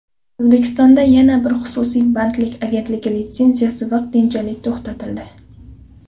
O‘zbekistondagi yana bir xususiy bandlik agentligi litsenziyasi vaqtinchalik to‘xtatildi .